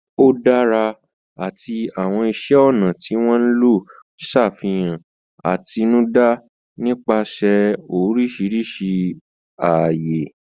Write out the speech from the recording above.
Ó dára àti àwọn iṣẹ́ ọnà tí wọ́n lò ń ṣàfihàn àtinúdá nípasẹ̀ oríṣiríṣi ààyè.